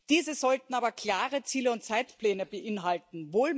Diese sollten aber klare Ziele und Zeitpläne beinhalten.